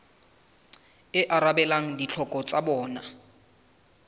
e arabelang ditlhoko tsa bona